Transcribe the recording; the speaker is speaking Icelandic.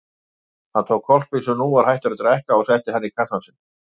Hann tók hvolpinn sem nú var hættur að drekka og setti hann í kassann sinn.